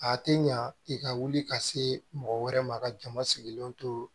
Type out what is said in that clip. A tɛ ɲa i ka wuli ka se mɔgɔ wɛrɛ ma ka jama sigilen to